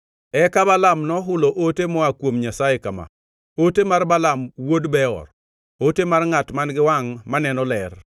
Eka Balaam nohulo ote moa kuom Nyasaye kama: “Ote mar Balaam wuod Beor, ote mar ngʼat man-gi wangʼ maneno ler,